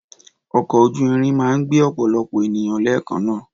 Ọkọ́ ojú irin máa ń gbé ọ̀pọ̀lọpọ̀ ènìyàn lẹ́ẹ̀kanaa